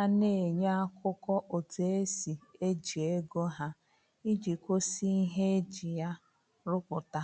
a na-enye akụkọ otu esi eji ego ha, iji gosi ihe eji ya rụpụta